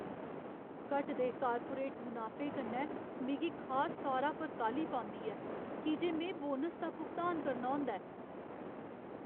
घटदे कार्पोरेट मुनाफे कन्नै मिगी खास तौरा पर काह्ली पौंदी ऐ की जे में बोनस दा भुगतान करना होंदा ऐ।